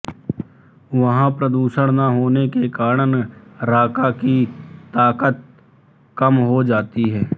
वहाँ प्रदूषण न होने के कारण राका की ताकत कम हो जाती है